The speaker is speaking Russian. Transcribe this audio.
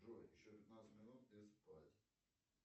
джой еще пятнадцать минут и спать